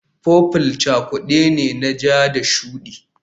Purple cakude ne na ja da shuɗi